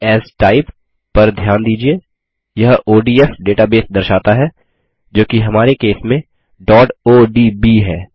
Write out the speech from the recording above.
save as Type पर ध्यान दीजिये यह ओडीएफ डेटाबेस दर्शाता है जोकि हमारे केस में odb है